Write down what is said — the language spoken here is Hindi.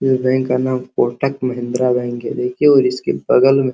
ये बैंक का नाम कोटक महिंद्रा बैंक है। देखिये और इसके बगल में --